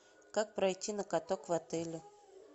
как пройти на каток в отеле